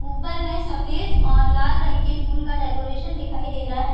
ऊपर में सफ़ेद और लाल रंग की फूल का डेकोरेशन दिखाई दे रहा है ।